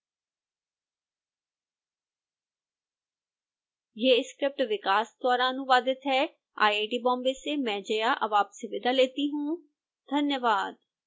यह स्क्रिप्ट विकास द्वारा अनुवादित है आईआईटी बॉम्बे से मैं जया अब आपसे विदा लेती हूँ धन्यवाद